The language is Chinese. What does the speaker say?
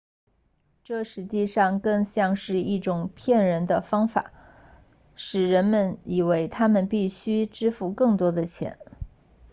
这实际上更像是一种骗人的方式让人们以为他们必须支付更多的钱